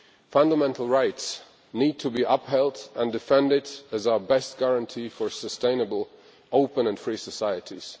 Fundamental rights need to be upheld and defended as our best guarantee for sustainable, open and free societies.